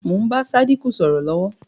Bẹ́ẹ̀ ni, mo ń bá Sádíkù sọ̀rọ̀ lọ̀wọ̀